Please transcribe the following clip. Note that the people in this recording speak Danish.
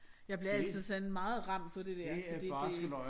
Jeg bliver altid sådan meget ramt på det der fordi det